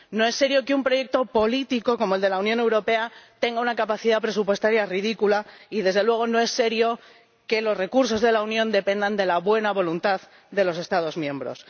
No es serio que un proyecto político como el de la Unión Europea tenga una capacidad presupuestaria ridícula y, desde luego, no es serio que los recursos de la Unión dependan de la buena voluntad de los Estados miembros.